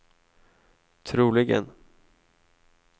troligen